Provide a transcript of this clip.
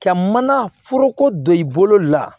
Ka mana foroko don i bolo la